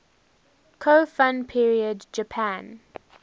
kofun period japan